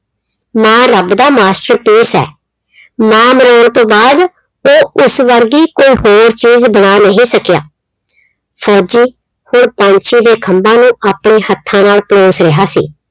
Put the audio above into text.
ਮਾਂ ਰੱਬ ਦਾ masterpiece ਆ। ਮਾਂ ਬਣਾਉਣ ਤੋਂ ਬਾਅਦ ਉਹ ਉਸ ਵਰਗੀ ਕੋਈ ਹੋਰ ਚੀਜ਼ ਬਣਾ ਨੀ ਸਕਿਆ। ਫੌਜੀ ਹੁਣ ਪੰਛੀ ਦੇ ਖੰਭਾਂ ਨੂੰ ਆਪਣੇ ਹੱਥਾਂ ਨਾਲ ਪਲੋਸ ਰਿਹਾ ਸੀ।